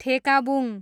ठेकाबुङ